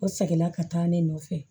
O segin la ka taa ne nɔfɛ